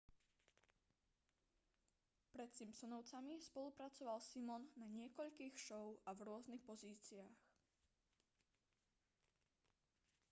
pred simpsonovcami spolupracoval simon na niekoľkých show a v rôznych pozíciách